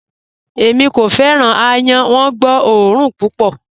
Ẹ̀mí kò fẹ́ran awọn àyán, wọ́n gbọ́ ọ̀orun púpọ̀.